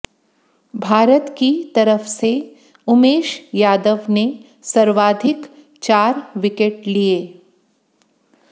भारत की तरफ से उमेश यादव ने सर्वाधिक चार विकेट लिए